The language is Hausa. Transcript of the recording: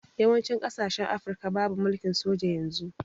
Yawanci kasashen afirka babu mulkin soja yanun